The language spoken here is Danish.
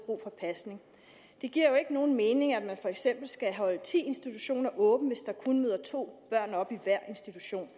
brug for pasning det giver jo ikke nogen mening at man for eksempel skal holde ti institutioner åbne hvis der kun møder to børn op i hver institution